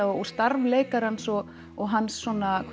og starf leikarans og og hans